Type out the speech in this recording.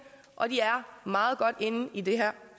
og de er meget godt inde i det her